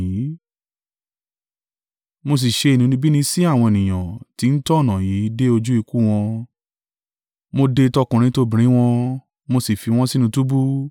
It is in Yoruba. Mo sì ṣe inúnibíni sí àwọn ènìyàn tí ń tọ ọ̀nà yìí dé ojú ikú wọn, mo dè tọkùnrin tobìnrin wọ́n, mo sì fi wọ́n sínú túbú,